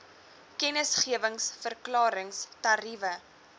kennisgewings verklarings tariewe